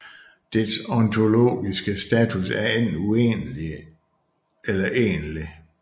Dets ontologiske status er enten uegentlig eller egentlig